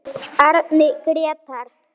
Árni Grétar.